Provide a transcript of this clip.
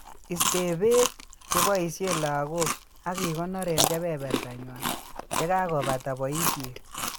Iste beek cheboishe lagok ak ikonor eng' kebeberta nywa yekebata boishet